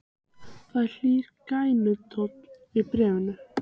Það er hlýr gælutónn í bréfunum.